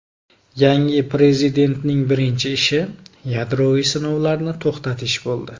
Yangi prezidentning birinchi ishi yadroviy sinovlarni to‘xtatish bo‘ldi.